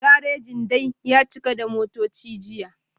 Garajin dai ya cika da motoci jiya